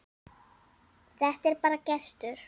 Þetta er bara gestur.